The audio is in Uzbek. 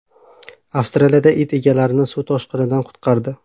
Avstraliyada it egalarini suv toshqinidan qutqardi.